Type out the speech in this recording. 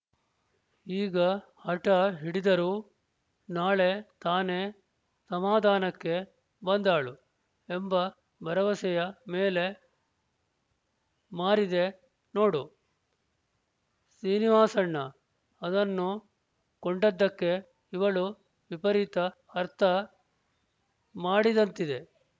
ಈಗ ಹಟ ಹಿಡಿದರೂ ನಾಳೆ ತಾನೇ ಸಮಾಧಾನಕ್ಕೆ ಬಂದಾಳು ಎಂಬ ಭರವಸೆಯ ಮೇಲೆ ಮಾರಿದೆ ನೋಡು ಶ್ರೀನಿವಾಸಣ್ಣ ಅದನ್ನು ಕೊಂಡದ್ದಕ್ಕೆ ಇವಳು ವಿಪರೀತ ಅರ್ಥ ಮಾಡಿದಂತಿದೆ